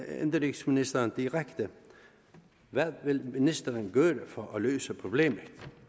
indenrigsministeren direkte hvad vil ministeren gøre for at løse problemet